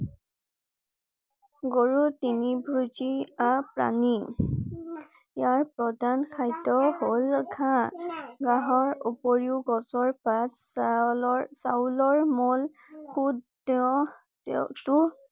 গৰুৰ তৃণভোজী প্ৰাণী। ইয়াৰ প্ৰৰধান খাদ্য হল ঘাঁহ । ঘাঁহৰ উপৰিও গছৰ পাত, চাউলৰ~চাউলৰ মল খোদ তেওঁ তো